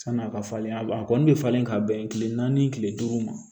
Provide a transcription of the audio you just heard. Sani a ka falen a b'a a kɔni bɛ falen ka bɛn kile naani kile duuru ma